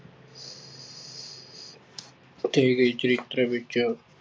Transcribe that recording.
ਚਰਿੱਤਰ ਵਿੱਚ